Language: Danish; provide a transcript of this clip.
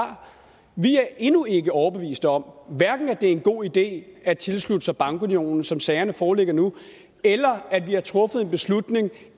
vi er endnu ikke overbevist om hverken at det er en god idé at tilslutte sig bankunionen som sagerne foreligger nu eller at vi har truffet en beslutning